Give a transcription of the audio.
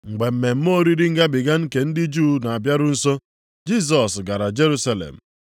Mgbe mmemme oriri Ngabiga nke ndị Juu na-abịaru nso, Jisọs gara Jerusalem.